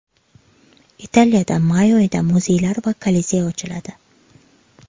Italiyada may oyida muzeylar va Kolizey ochiladi.